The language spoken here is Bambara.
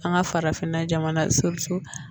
An ka farafinna jamana